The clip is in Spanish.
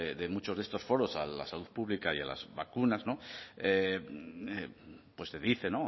de muchos de estos foros a la salud pública y a las vacunas pues se dice